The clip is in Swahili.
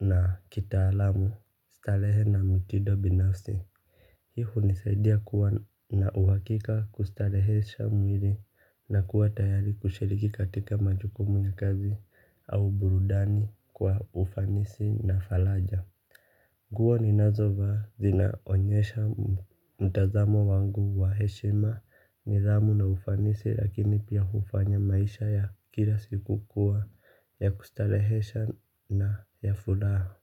na kita alamu starehe na mtido binafsi. Hii unisaidia kuwa na uhakika kustarehesha mwili na kuwa tayari kushiriki katika majukumu ya kazi au burudani kwa ufanisi na faraja. Nguo ni nazovaa zina onyesha mtazamo wangu wa heshima nidhamu na ufanisi lakini pia ufanya maisha ya kila siku kuwa ya kustarehesha na ya fulaha.